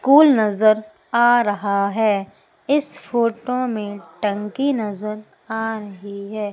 Cool नजर आ रहा है इस फोटो में टंकी नजर आ रही है।